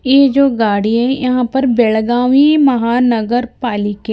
ये जो गाड़ी है यहां पर बेळगावी महानगरपालिके--